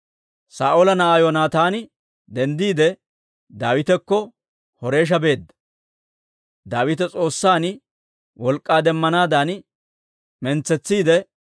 Saa'oola na'aa Yoonataani denddiide, Daawitakko Horeesha beedda; Daawita S'oossan wolk'k'aa demmanaadan mintsetsiidde,